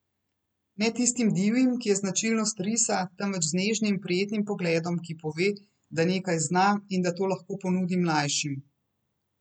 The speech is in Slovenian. Ne tistim divjim, ki je značilnost risa, temveč z nežnim, prijetnim pogledom, ki pove, da nekaj zna in da to lahko ponudi mlajšim.